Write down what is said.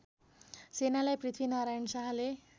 सेनालाई पृथ्वीनारायण शाहले